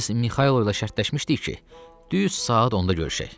Biz Mixail ilə şərtləşmişdik ki, düz saat 10-da görüşək.